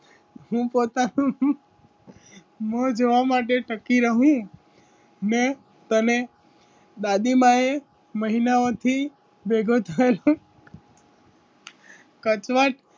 હું પોતાનુ મો જોવા માટે સકી રહું મે તને દાદી માંએ તને મહિનાઓથી ભેગો થયો કચવાટ.